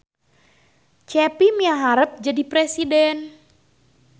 Cepi miharep jadi presiden